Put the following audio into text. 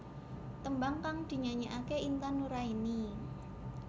Tembang kang dinyanyekake Intan Nuraini